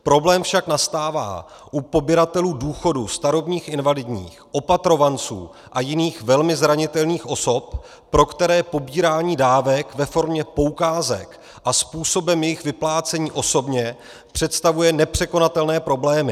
Problém však nastává u pobíratelů důchodů, starobních, invalidních, opatrovanců a jiných velmi zranitelných osob, pro které pobírání dávek ve formě poukázek a způsobem jejich vyplácení osobně představuje nepřekonatelné problémy.